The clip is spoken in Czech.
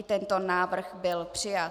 I tento návrh byl přijat.